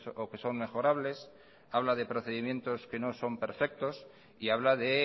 o que son mejorables habla de procedimientos que no son perfectos y habla de